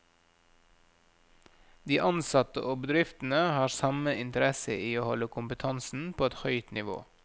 De ansatte og bedriftene har samme interesse i å holde kompetansen på et høyt nivå.